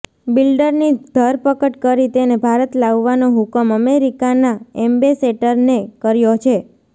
બિલ્ડરની ધરપકડ કરી તેને ભારત લાવવાનો હુકમ અમેરિકાના એમ્બેસેટરને કર્યો છે